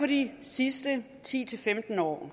de sidste ti til femten år